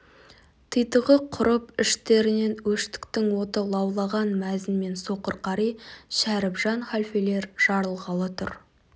титығы құрып іштерінен өштіктің оты лаулаған мәзін мен соқыр қари шәрібжан халфелер жарылғалы тұр